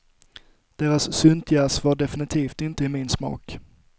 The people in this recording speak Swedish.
Deras syntjazz var definitivt inte i min smak.